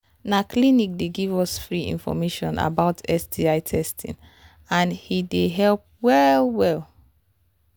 na clinic they give us free information about sti testing and he they help well well